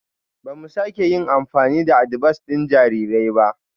Ba mu sake yin amfani da adibas ɗin jarirai ba